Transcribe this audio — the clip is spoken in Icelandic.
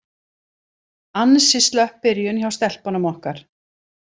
Ansi slöpp byrjun hjá stelpunum okkar.